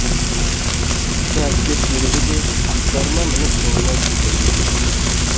екі әскер серігі де аттарына мініп соңынан тепеңдей жөнелді